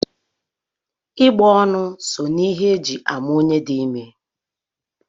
Ịgbọonu so na ihe e ji ama onye di ime